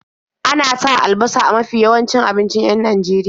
Ana sa albasa a mafi yawancin abincin 'yan Najeria.